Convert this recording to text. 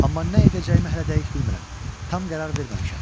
Amma nə edəcəyimi hələ dəqiq bilmirəm, tam qərar verməmişəm.